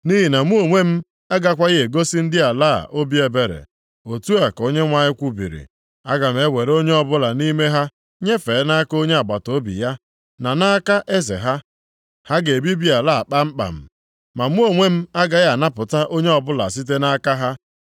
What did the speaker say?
Nʼihi na mụ onwe m agakwaghị egosi ndị ala a obi ebere.” Otu a ka Onyenwe anyị kwubiri. “Aga m ewere onye ọbụla nʼime ha nyefee nʼaka onye agbataobi ya, na nʼaka eze ha. Ha ga-ebibi ala a kpamkpam, ma mụ onwe m agaghị anapụta onye ọbụla site nʼaka ha.”